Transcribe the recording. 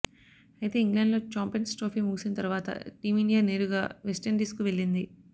అయితే ఇంగ్లాండ్లో champions trophy ముగిసిన తర్వాత టీమిండియా నేరుగా వెస్టిండీస్కు వెళ్లింది